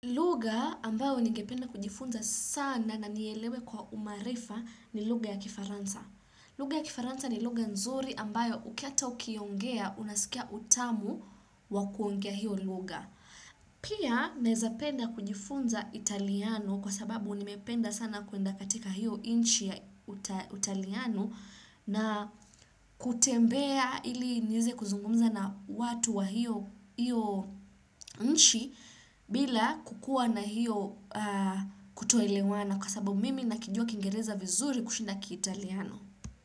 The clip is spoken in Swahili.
Lugha ambayo ningependa kujifunza sana na nielewe kwa umaarifa ni lugha ya kifaransa. Lugha ya kifaransa ni lugha nzuri ambayo ukihata ukiongea unasikia utamu wakuongea hiyo lugha. Pia naeza penda kujifunza italiano kwa sababu nimependa sana kuenda katika hiyo nchi ya italiano na kutembea ili niweze kuzungumza na watu wa hiyo nchi bila kukua na hiyo kutoelewana kwa sababu mimi nakijua kingereza vizuri kushinda kiitaliano.